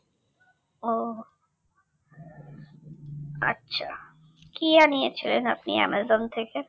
ও আচ্ছা কি আনিয়েছিলেন আপনি অ্যামাজন থেকে